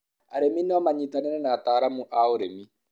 arĩmi no manyitanire na ataalamu a ũrĩmi